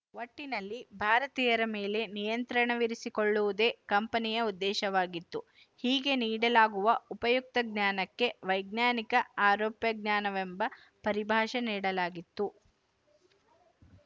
ಒಟ್ಟಿನಲ್ಲಿ ಭಾರತೀಯರ ಮೇಲೆ ನಿಯಂತ್ರಣವಿರಿಸಿಕೊಳ್ಳುವುದೇ ಕಂಪನಿಯ ಉದ್ದೇಶವಾಗಿತ್ತು ಹೀಗೆ ನೀಡಲಾಗುವ ಉಪಯುಕ್ತ ಜ್ಞಾನಕ್ಕೆ ವೈಜ್ಞಾನಿಕ ಆರೋಪ್ಯ ಜ್ಞಾನವೆಂಬ ಪರಿಭಾಷೆ ನೀಡಲಾಗಿತ್ತು